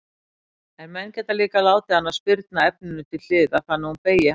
En menn geta líka látið hana spyrna efninu til hliðar þannig að hún beygi hæfilega.